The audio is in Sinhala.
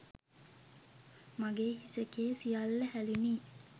මගේ හිස කේ සියල්ල හැලුනි.